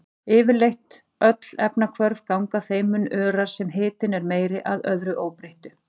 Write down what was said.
Yfirleitt öll efnahvörf ganga þeim mun örar sem hitinn er meiri, að öðru óbreyttu.